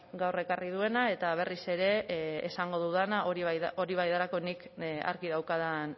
gaur ekarri duena eta berriz ere esango dudana hori bai delako nik argi daukadan